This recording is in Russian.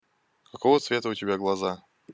какого цвета у тебя глаза